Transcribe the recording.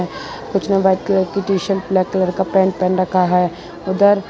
कुछ ने white colour की टी शर्ट ब्लैक कलर का पेंट पहन रखा है उधर --